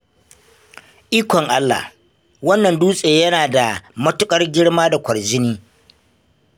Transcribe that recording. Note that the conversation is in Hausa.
Ikon Allah! wannan dutse yana da matuƙar girma da kwarjini